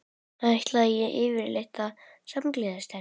Ætlaði ég yfirleitt að samgleðjast henni?